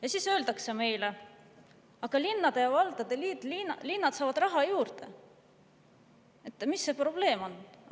Ja siis öeldakse meile: "Aga linnad saavad raha juurde, mis see probleem on?